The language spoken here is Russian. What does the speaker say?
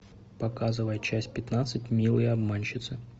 показывай часть пятнадцать милые обманщицы